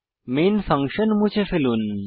main function মুছে ফেলুন